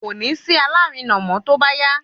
kòní sí alárinà mọ tóbá yá